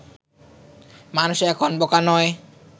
মানুষ এখন বোকা নয়